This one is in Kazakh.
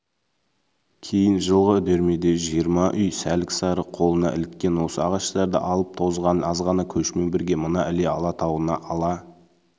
кейін жылғы үдермеде жиырма үй сәлік-сары қолына іліккен осы ағаштарды азып-тозған азғана көшімен бірге мына іле алатауына ала